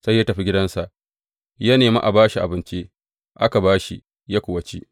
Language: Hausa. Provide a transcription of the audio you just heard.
Sai ya tafi gidansa, ya nemi a ba shi abinci, aka ba shi, ya kuwa ci.